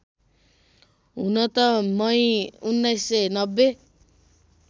हुन त मई १९९०